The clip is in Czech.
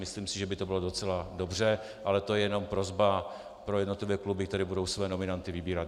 Myslím si, že by to bylo docela dobře, ale to je jenom prosba pro jednotlivé kluby, které budou své nominanty vybírat.